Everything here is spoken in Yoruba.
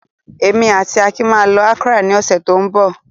Èmi àti Akin máa lọ Accra ní ọ̀sẹ̀ tó ń bọ̀.